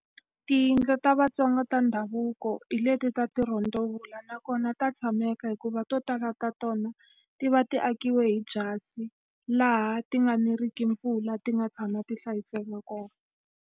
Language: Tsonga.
Tiyindlu ta vaaTsonga ta ndhavuko hi leti ta ti rondavels nakona ta tshameka hikuva to tala ta tona, ti va ti akiwe hi byasi. Laha ti nga neriki mpfula, ti nga tshama ti hlayiseka kona.